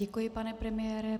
Děkuji, pane premiére.